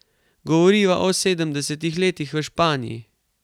Govoriva o sedemdesetih letih v Španiji.